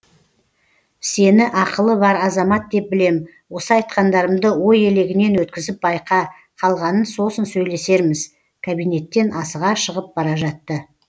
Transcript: сені ақылы бар азамат деп білем осы айтқандарымды ой елегінен өткізіп байқа қалғанын сосын сөйлесерміз кабинеттен асыға шығып бара жатты